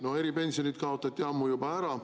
Need eripensionid kaotati juba ammu ära.